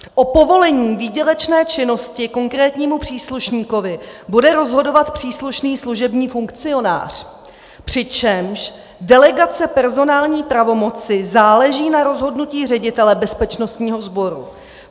O povolení výdělečné činnosti konkrétnímu příslušníkovi bude rozhodovat příslušný služební funkcionář, přičemž delegace personální pravomoci záleží na rozhodnutí ředitele bezpečnostního sboru.